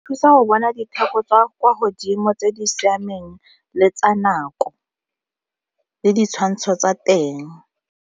Thusa go bona ditheko tsa kwa godimo tse di siameng le tsa nako le ditshwantsho tsa teng.